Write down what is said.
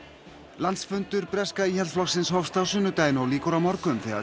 landsfundur Íhaldsflokksins hófst á sunnudaginn og lýkur á morgun þegar